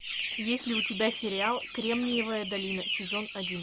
есть ли у тебя сериал кремниевая долина сезон один